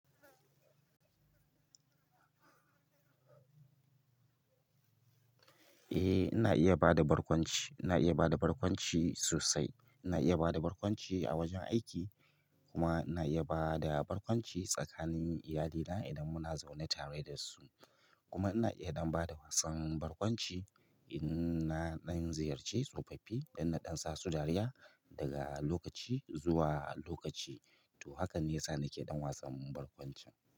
Eh ina iya bada barkwanci, ina iya bada barkwanci sosai. Ina iya bada barkwanci a wajen aiki kuma ina iya bada barkwanci tsakanin iyalina idan muna zaune tare da su. Kuma ina iya ɗan bada wasan barkwanci in na ɗan ziyarce tsofaffi don na ɗan sa su dariya daga lokaci zuwa lokaci. To haka ne yasa nake ɗan wasan barkwanci.